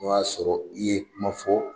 O y'a sɔrɔ i ye kuma fɔ